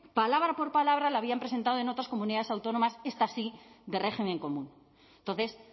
palabra por palabra la habían presentado en otras comunidades autónomas estas sí de régimen común entonces